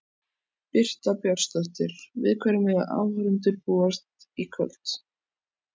Birta Björnsdóttir: Við hverju mega áhorfendur búast í kvöld?